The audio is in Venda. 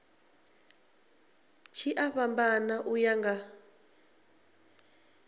tshi a fhambana uya nga